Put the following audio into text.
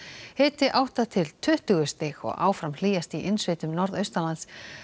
hiti átta til tuttugu stig og áfram hlýjast í innsveitum norðaustanlands